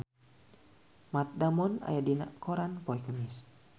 Matt Damon aya dina koran poe Kemis